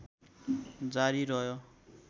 जारी रह्यो